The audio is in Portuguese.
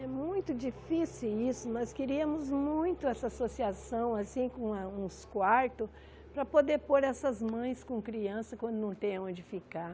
É muito difícil isso, mas queríamos muito essa associação, assim, com ah com uns quartos, para poder pôr essas mães com crianças quando não tem onde ficar.